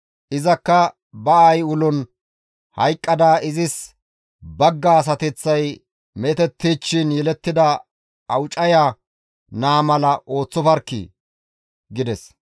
Izakka ba aayi ulon hayqqada izis bagga asateththay meetettichchiin yelettida awucaya naa mala ooththofarkkii!» gides.